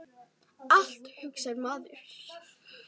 Allt, hugsar maður.